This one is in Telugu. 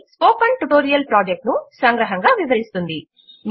అది స్పోకెన్ ట్యుటోరియల్ ప్రాజెక్ట్ ను సంగ్రహముగా వివరిస్తుంది